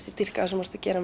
ég dýrka það sem þú ert að gera